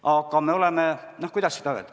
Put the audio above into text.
Aga kuidas seda öelda?